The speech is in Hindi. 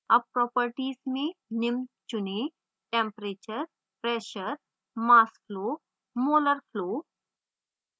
अब propertiesमें निम्न चुनें